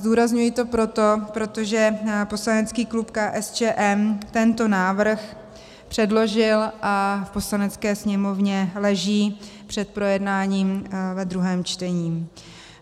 Zdůrazňuji to proto, protože poslanecký klub KSČM tento návrh předložil a v Poslanecké sněmovně leží před projednáním ve druhém čtení.